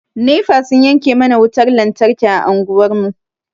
Nefa sun yanke mana wutan lantarki a anguwar mu.